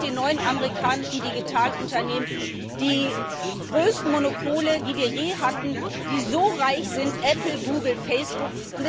Wir haben mit den neuen amerikanischen Digitalunternehmen die größten Monopole, die wir je hatten, die so reich sind Apple, Google, Facebook.